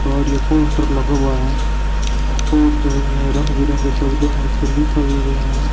और ये पोस्टर लगा हुआ है पोस्टर में रंग बिरंगे शब्दों में ऊपर लिखा भी गया है।